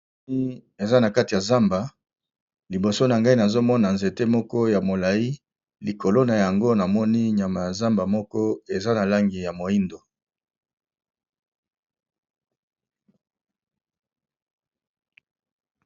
Moni eza na kati ya zamba, liboso na ngai nazo mona nzete moko ya molayi likolo na yango na moni nyama ya zamba moko eza na langi ya moyindo.